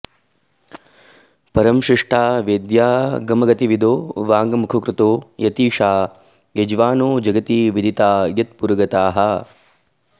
परं शिष्टा वैद्यागमगतिविदो वाङ्मुखकृतो यतीशा यज्वानो जगति विदिता यत्पुरगताः